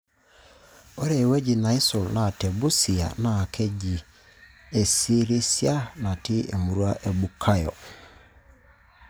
Ore ewueji neisul naa Te Busia NAA Keji Esirisia natii emurua e Bukhayo.